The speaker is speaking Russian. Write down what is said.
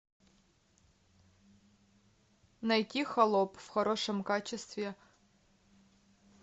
найти холоп в хорошем качестве